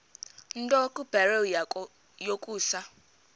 nto kubarrow yokusa